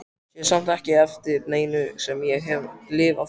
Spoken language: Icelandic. Sé samt ekki eftir neinu sem ég hef lifað.